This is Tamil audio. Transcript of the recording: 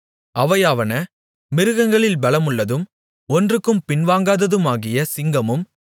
அவையாவன மிருகங்களில் பெலமுள்ளதும் ஒன்றுக்கும் பின்வாங்காததுமாகிய சிங்கமும்